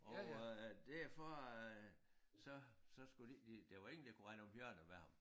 Og øh derfor øh så så skulle de ikke de der var ingen der kunne rende om hjørner med ham